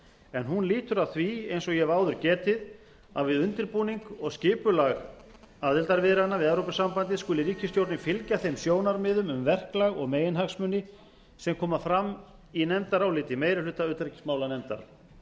en hún lýtur að því eins og ég hef áður getið að við undirbúning og skipulag aðildarviðræðna við evrópusambandið skuli ríkisstjórnin fylgja þeim sjónarmiðum um verklag og meginhagsmuni sem koma fram í nefndaráliti meiri hluta utanríkismálanefndar